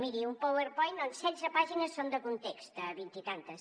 miri un powerpoint on setze pàgines són de context de vint i escaig